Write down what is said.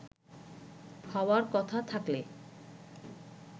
হওয়ার কথা থাকলে